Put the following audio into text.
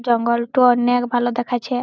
জঙ্গল টো অনেক ভালো দেখাচ্ছে